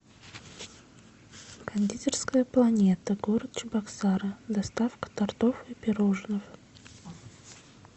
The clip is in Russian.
кондитерская планета город чебоксары доставка тортов и пирожных